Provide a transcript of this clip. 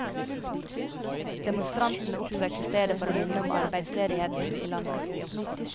Demonstrantene oppsøkte stedet for å minne om arbeidsledigheten i landet.